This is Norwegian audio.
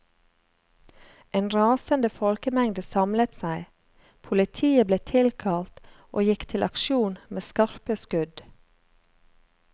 En rasende folkemengde samlet seg, politiet ble tilkalt og gikk til aksjon med skarpe skudd.